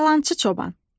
Yalançı çoban.